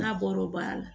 N'a bɔra o baara la